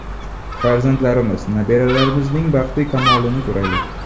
Farzandlarimiz, nabiralarimizning baxtu kamolini ko‘raylik!